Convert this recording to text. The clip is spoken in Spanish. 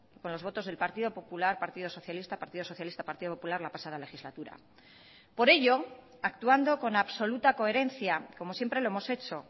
con los votos del partido popular partido socialista partido socialista partido popular la pasada legislatura por ello actuando con absoluta coherencia como siempre lo hemos hecho